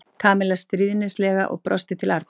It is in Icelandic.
Kamilla stríðnislega og brosti til Arnars.